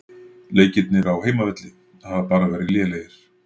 Leikirnir á heimavelli hafa bara verið lélegir.